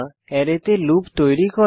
অ্যারেতে লুপ তৈরী করা